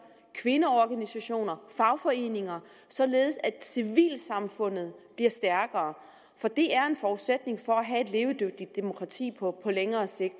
kvindeorganisationer og fagforeninger således at civilsamfundet bliver stærkere for det er en forudsætning for at have levedygtigt demokrati på længere sigt